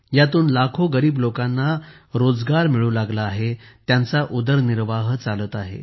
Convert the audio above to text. यातून लाखो गरीब लोकांना रोजगार मिळू लागला आहे त्यांचा उदरनिर्वाह चालत आहे